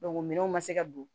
minɛnw ma se ka don